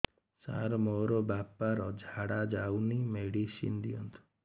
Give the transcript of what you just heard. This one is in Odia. ସାର ମୋର ବାପା ର ଝାଡା ଯାଉନି ମେଡିସିନ ଦିଅନ୍ତୁ